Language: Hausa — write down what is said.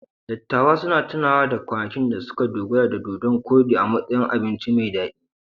Dattawan suna tunawa da kwanakin da suka dogara da dodon-koɗi a matsayin abinci mai daɗi.